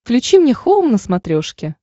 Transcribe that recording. включи мне хоум на смотрешке